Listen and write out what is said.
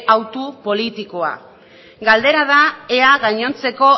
hautu politikoa galdera da ea gainontzeko